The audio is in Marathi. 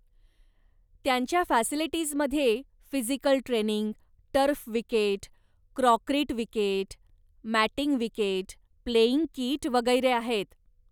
त्यांच्या फॅसिलिटीजमध्ये physical training, turf wicket, concrete wicket, matting wicket, playing kit वगैरे आहेत.